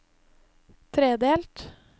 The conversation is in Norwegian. tredelt